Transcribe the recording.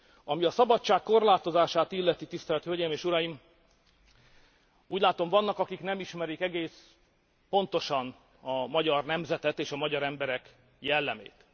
Ami a szabadság korlátozását illeti, tisztelt hölgyeim és uraim, úgy látom, vannak, akik nem ismerik egész pontosan a magyar nemzetet és a magyar emberek jellemét.